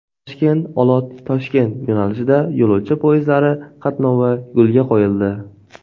Toshkent–Olot–Toshkent yo‘nalishida yo‘lovchi poyezdlari qatnovi yo‘lga qo‘yildi.